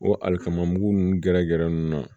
O alikama mugu nunnu gɛrɛ gɛrɛ nunnu na